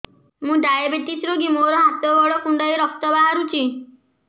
ମୁ ଡାଏବେଟିସ ରୋଗୀ ମୋର ହାତ ଗୋଡ଼ କୁଣ୍ଡାଇ ରକ୍ତ ବାହାରୁଚି